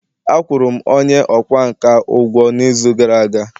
Akwụ rụ'm onye ọkwá nkà ugwo n’izu gara aga